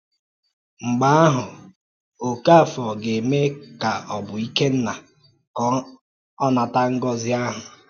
Mgbe ahụ̀, Okáfòr gà-ème ka ọ bụ Ikénnà ka ọ nàtà ngọ́zi ahụ̀.